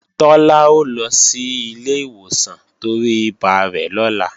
Tọ́lá ó lọ sí ilé ìwòsàn torí ibà rẹ̀ lọ́la